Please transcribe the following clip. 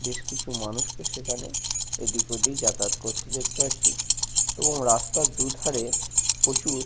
বেশ কিছু মানুষকে সেখানে এদিক ওদিক যাতায়াত করতে দেখতে পাচ্ছি এবং রাস্তার দুধারে প্রচুর--